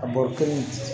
A bɔrɔ kelen